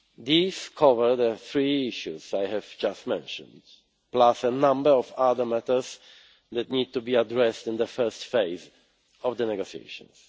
These cover the three issues I have just mentioned, plus a number of other matters that need to be addressed in the first phase of the negotiations.